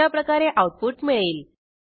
अशाप्रकारे आऊटपुट मिळेल